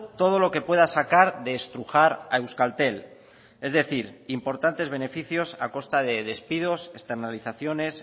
todo lo que pueda sacar de estrujar a euskaltel es decir importantes beneficios a costa de despidos externalizaciones